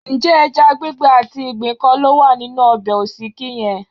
Ǹjẹ́ ẹja gbígbẹ àti ìgbín kọ́ ló wà nínú ọbẹ̀ òsíkí yẹn?